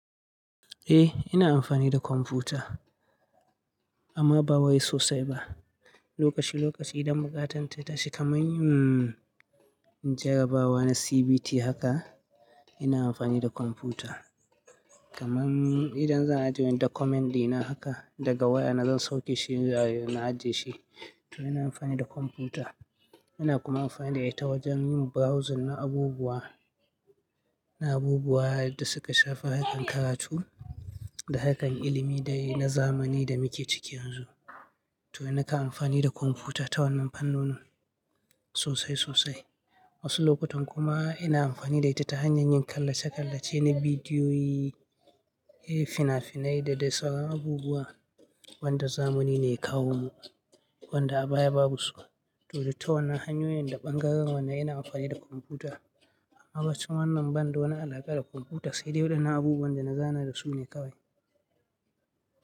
Eh, ina amfani da kwamfuta amma ba wai sosai ba. Lokaci-lokaci idan buƙatan ta tashi kamar yin jarabawa na CBT haka, ina amfani da kwamfuta. Kamar idan zan ajiye document dina haka daga waya na zan sauke shi a na ajiye shi, to ina amfani da kwamfuta. Ina kuma amfani da ita wajen yin browsing na abubuwa, na abubuwa da suka shafi harkar karatu da harkar ilimi dai na zamani da muke ciki yanzu. To nakan amfani da kwamfuta ta wannan fannoni sosai sosai. Wasu lokutan kuma ina amfani da ita ta hanyar yin kallace-kallace na bidiyoyi, fina-finai da dai sauran abubuwa wanda zamani ne ya kawo mu, wanda a baya babu su. To da ta wannan hanyoyin da ɓangaren wanda ina amfani da kwamfuta amma bacin wannan banda wani alaƙa da kwamfuta sai dai waɗannan abubuwan da na zana da su ne kawai.